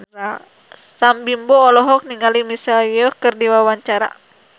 Sam Bimbo olohok ningali Michelle Yeoh keur diwawancara